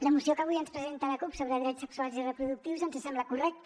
la moció que avui ens presenta la cup sobre drets sexuals i reproductius ens sembla correcta